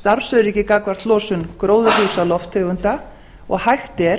starfsöryggi gagnvart losun gróðurhúsalofttegunda og hægt er